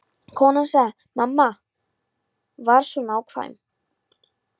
Konan sagði: Mamma var svo nákvæm.